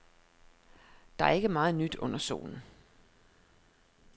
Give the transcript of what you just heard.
Der er ikke meget nyt under solen.